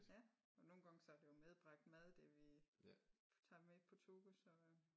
Ja og nogle gange så er det jo medbragt mad det vi tager med på tur så